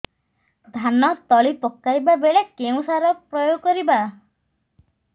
ଧାନ ତଳି ପକାଇବା ବେଳେ କେଉଁ ସାର ପ୍ରୟୋଗ କରିବା